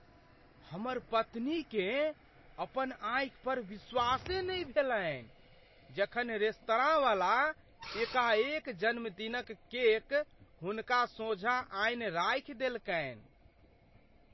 हमर पत्नीकेँ अपन आँखि पर विश्वासे नहि भेलनि जखन रेस्तरांवला एकाएक जन्मदिनक केक हुनका सोझाँ आनि राखि देलकनि।